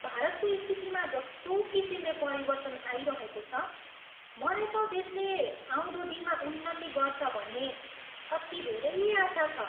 भारतको स्थितिमा जस्तो किसिमले परिवर्तन आइरहेको छ, मलाई त देशले आउँदो दिनमा उन्नति गर्छ भन्ने अति धेरै आशा छ।